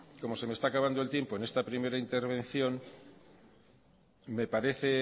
como se me está acabando el tiempo en esta primera intervención me parece